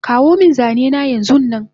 Kawomin zanena yanzunnan